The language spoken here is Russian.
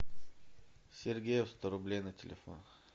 сергею сто рублей на телефон